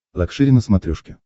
лакшери на смотрешке